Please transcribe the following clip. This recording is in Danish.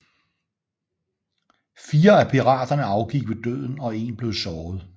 Fire af piraterne afgik ved døden og en blev såret